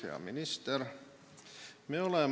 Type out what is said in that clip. Hea minister!